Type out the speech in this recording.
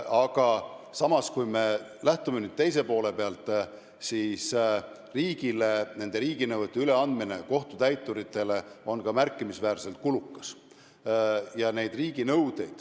Aga samas, kui me lähtume teise poole pealt, siis on selge, et riiginõuete üleandmine kohtutäituritele on märkimisväärselt kulukas.